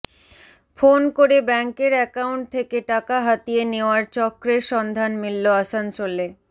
phone করে ব্যাঙ্কের account থেকে টাকা হাতিয়ে নেওয়ার চক্রের সন্ধান মিলল আসানসোলে